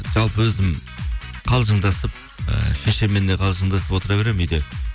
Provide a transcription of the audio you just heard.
жалпы өзім қалжыңдасып ііі шешеммен де қалжыңдасып отыр беремін үйде